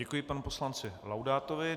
Děkuji panu poslanci Laudátovi.